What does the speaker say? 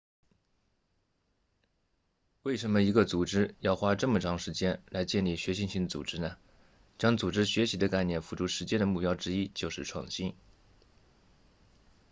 为什么一个组织要花这么长时间来建立学习型组织呢将组织学习的概念付诸实践的目标之一就是创新